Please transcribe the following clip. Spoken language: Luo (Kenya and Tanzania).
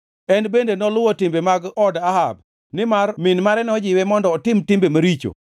En bende noluwo timbe mag od Ahab nimar min mare nojiwe mondo otim timbe maricho.